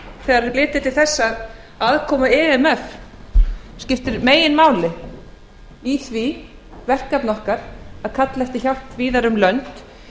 þegar litið er til þess að aðkoma imf skiptir meginmáli í því verkefni okkar að kalla eftir hjálp víðar um lönd